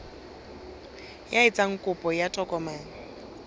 ya etsang kopo ya tokomane